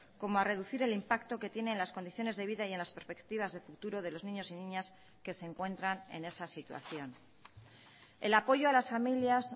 como a reducir el impacto que tiene en las condiciones de vida y en las perspectivas de futuro de los niños y niñas que se encuentran en esa situación el apoyo a las familias